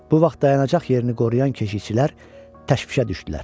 Bu vaxt dayanacaq yerini qoruyan keşikçilər təhvişə düşdülər.